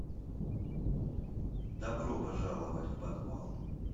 добро пожаловать в подвал